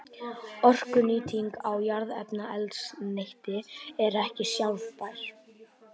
Orkunýting á jarðefnaeldsneyti er ekki sjálfbær.